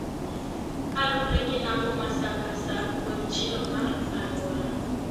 kaluwre gi napo ma sa ka sa kod chilo mar aluora